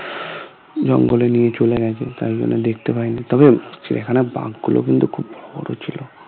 জঙ্গলে নিয়ে চলে গেছে তাই জন্য দেখতে পাইনি তবে চিড়িয়াখানার বাঘ গুলো কিন্তু খুব বড়ো ছিল